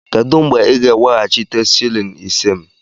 Kedụ mgbe ị ga-eweghachite shịlịn ise m?